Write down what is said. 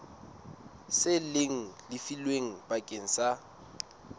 seng le lefilwe bakeng sa